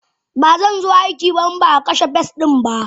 Bazanzo aiki ba inbaa kashe pest dinba.